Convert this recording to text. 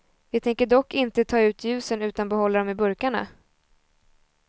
Vi tänker dock inte ta ut ljusen utan behålla dem i burkarna.